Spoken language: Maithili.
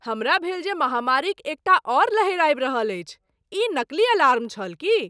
हमरा भेल जे महामारीक एकटा आओर लहरि आबि रहल अछि। ई नकली अलार्म छल की?